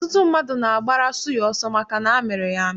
Ọtụtụ mmadụ na-agbara suya ọsọ maka na amịrị ya amị.